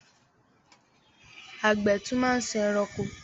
Àgbẹ̀ tún máa ń sin ẹranko.